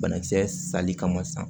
Banakisɛ sali kama sisan